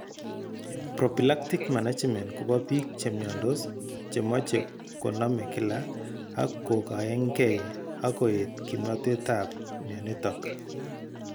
Prophylactic management kobo biik chemyondos chemoche konome kila ak kogaengei ak koet kimnotet ab myonitok